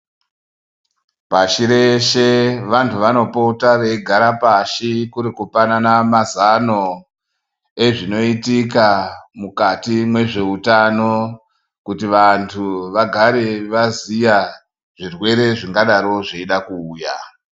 Pashi reshe vanthu vanopota veigara pashi kuri kupanana mazano ezvinoitika mukati mwezveutano kuti vanthu vagare vaziya zvirwere zvingadaro zveida kuuya.